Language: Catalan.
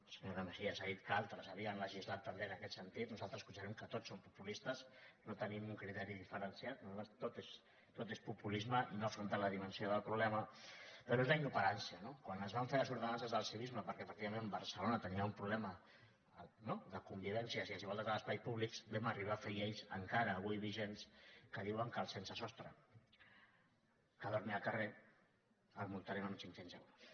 la senyora mejías ha dit que altres havien legislat també en aquest sentit nosaltres considerem que tots són populistes no tenim un criteri diferenciat tot és populisme i no afrontar la dimensió del problema però és la inoperància no quan es van fer les ordenances del civisme perquè efectivament barcelona tenia un problema no de convivència i desigualtat als espais públics vam arribar a fer lleis encara avui vigents que diuen que el sense sostre que dormi al carrer el multarem amb cinc cents euros